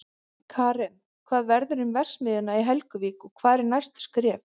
Karen, hvað verður um verksmiðjuna í Helguvík og hver eru næstu skref?